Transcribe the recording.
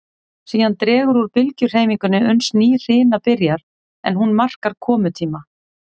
Síðan dregur úr bylgjuhreyfingunni uns ný hrina byrjar, en hún markar komutíma